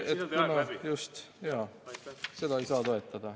Seda ei saa toetada.